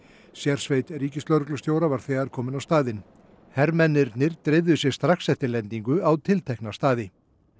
sérsveit ríkislögreglustjóra var þegar komin á staðinn hermennirnir dreifðu sér strax eftir lendingu á tiltekna staði